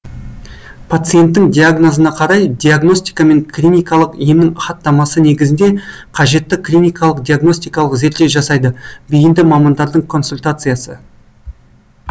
пациенттің диагнозына қарай диагностика мен клиникалық емнің хаттамасы негізінде қажетті клиникалық диагностикалық зерттеу жасайды бейінді мамандардың консультациясы